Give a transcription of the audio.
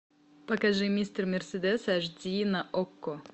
покажи мистер мерседес аш ди на окко